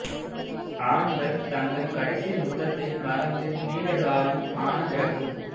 ஆண்கள் தங்கள் கடைசி முத்தத்தை மறந்து நீண்ட காலம் ஆன பிறகும்